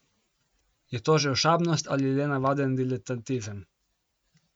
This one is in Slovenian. Je to že ošabnost ali le navaden diletantizem?